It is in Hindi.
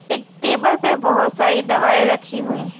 एक टेबल पे बहोत सारी दवाई रखी हुई है।